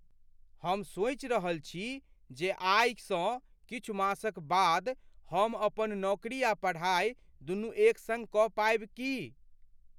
हम सोचि रहल छी जे आईसँ किछु मासक बाद, हम अपन नौकरी आ पढ़ाइ दुनू एक सङ्ग कऽ पायब की।